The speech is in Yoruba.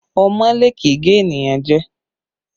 Ọmọọ́lé kì í gé ènìyàn jẹ